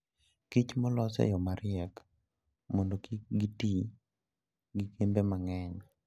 Kich molos e yo mariek mondo kik giti gi kembe mang'eny.